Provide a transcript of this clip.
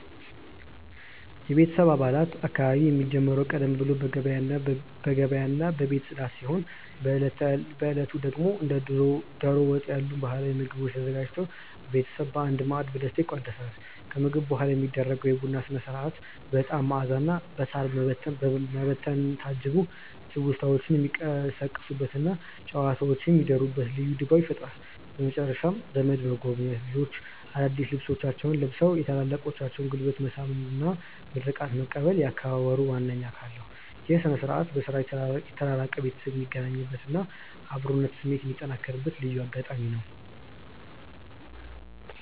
የቤተሰብ በዓላት አከባበር የሚጀምረው ቀደም ብሎ በገበያና በቤት ጽዳት ሲሆን፣ በዕለቱ ደግሞ እንደ ደሮ ወጥ ያሉ ባህላዊ ምግቦች ተዘጋጅተው ቤተሰብ በአንድ ማዕድ በደስታ ይቋደሳል። ከምግብ በኋላ የሚደረገው የቡና ሥነ-ሥርዓት በዕጣን መዓዛና በሳር መበተን ታጅቦ ትውስታዎች የሚቀሰቀሱበትና ጨዋታዎች የሚደሩበት ልዩ ድባብ ይፈጥራል። በመጨረሻም ዘመድ መጎብኘት፣ ልጆች አዳዲስ ልብሶቻቸውን ለብሰው የታላላቆችን ጉልበት መሳም እና ምርቃት መቀበል የአከባበሩ ዋነኛ አካል ናቸው። ይህ ሥነ-ሥርዓት በሥራ የተራራቀ ቤተሰብ የሚገናኝበትና የአብሮነት ስሜት የሚጠነክርበት ልዩ አጋጣሚ ነው።